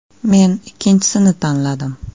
Men ikkinchisini tanladim.